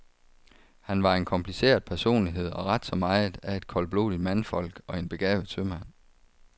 Han var en kompliceret personlighed og ret så meget af et koldblodigt mandfolk og en begavet sømand.